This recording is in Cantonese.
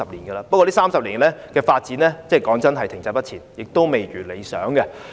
不過老實說，這30年來相關的發展停滯不前，未如理想。